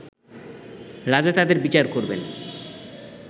রাজা তাদের বিচার করবেন